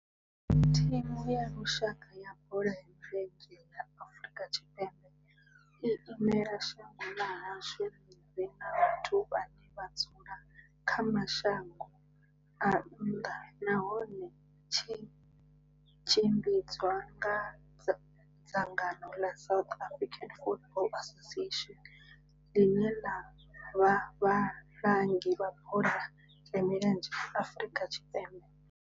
Thimu ya lushaka ya bola ya milenzhe ya Afrika Tshipembe i imela shango ḽa hashu ḽi re na vhathu vhane vha dzula kha mashango a nnḓa nahone tshi tshimbidzwa nga dzangano la South African Football Association, line la vha vhalangi vha bola ya milenzhe Afrika Tshipembe.